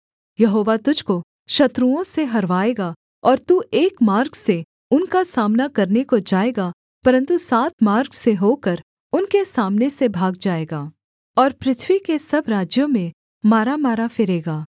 यहोवा तुझको शत्रुओं से हरवाएगा और तू एक मार्ग से उनका सामना करने को जाएगा परन्तु सात मार्ग से होकर उनके सामने से भाग जाएगा और पृथ्वी के सब राज्यों में मारामारा फिरेगा